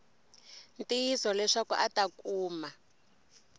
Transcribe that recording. ntiyiso leswaku a ta kuma